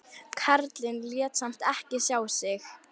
Karlinn lét samt ekki sjá sig.